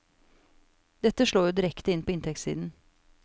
Dette slår jo direkte inn på inntektssiden.